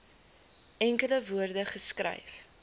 enkele woorde geskryf